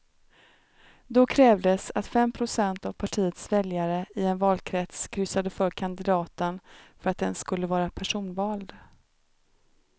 Då krävdes att fem procent av partiets väljare i en valkrets kryssade för kandidaten för att den skulle vara personvald.